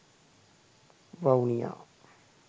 vavuniya